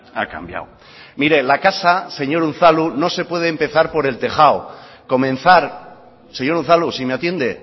ha cambiado mire la casa señor unzalu no se puede empezar por el tejado comenzar señor unzalu si me atiende